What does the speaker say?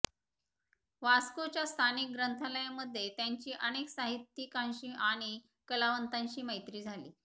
वास्कोच्या स्थानिक गंथालयामध्ये त्यांची अनेक साहित्यिकांशी आणि कलावंतांशी मैत्री झाली